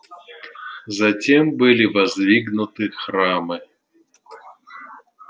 затем были воздвигнуты храмы